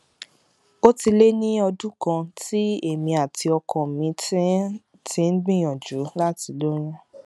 ó ti lé ní ọdún kan tí èmi àti ọkọ mi ti ń ti ń gbìyànjú láti lóyún